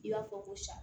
I b'a fɔ ko sa